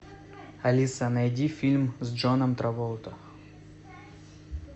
алиса найди фильм с джоном траволта